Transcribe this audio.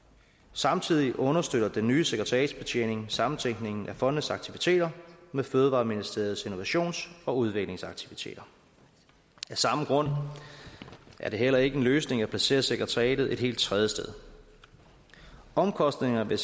samtidig understøtter den nye sekretariatsbetjening sammentænkningen af fondenes aktiviteter med fødevareministeriets innovations og udviklingsaktiviteter af samme grund er det heller ikke en løsning at placere sekretariatet et helt tredje sted omkostningerne